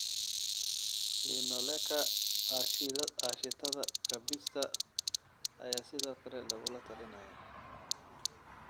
Linoleka aaashitada kabista ayaa sidoo kale lagula talinayaa.